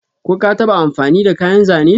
Ko ka taba amfani da kayan Zane?